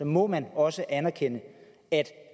må man også anerkende at